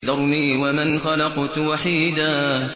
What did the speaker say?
ذَرْنِي وَمَنْ خَلَقْتُ وَحِيدًا